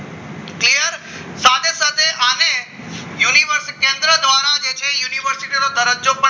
university કેન્દ્ર દ્વારા જે છે university દરજ્જો